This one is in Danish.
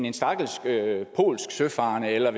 en stakkels polsk søfarende eller